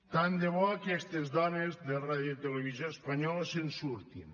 tant de bo aquestes dones de radiotelevisió espanyola se’n surtin